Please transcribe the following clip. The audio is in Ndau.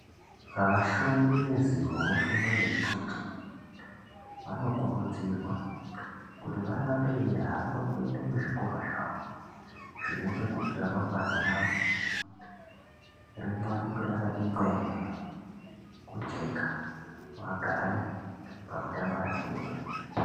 Vashumi vezivo vefundo yeucheche vanokurudzirwa kuti varambe veihamba kuenda kuzvikora zvawo zvinoita kuti ramangwana ravo riwanikwe rakati ngwee kujeka vagare pamutambarakede.